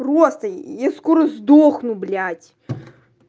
просто я скоро сдохну блять